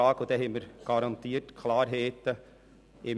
Dann haben wir im Juni garantiert Klarheit.